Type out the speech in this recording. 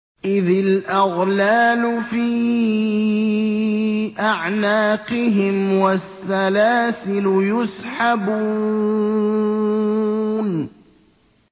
إِذِ الْأَغْلَالُ فِي أَعْنَاقِهِمْ وَالسَّلَاسِلُ يُسْحَبُونَ